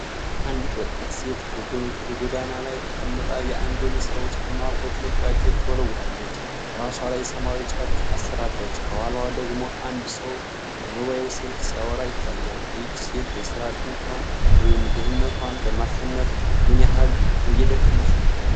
አንዲት ወጣት ሴት በጐዳና ላይ ተቀምጣ የአንድን ሰው ጫማ በጥንቃቄ ትወለወላለች። በራሷ ላይ ሰማያዊ ጨርቅ አስራለች፤ ከኋላዋ ደግሞ አንድ ሰው በሞባይል ስልክ ሲያወራ ይታያል። ይህች ሴት የሥራ አጥነቷን ወይም ድህነቷን ለማሸነፍ ምን ያህል እየደከመች ነው?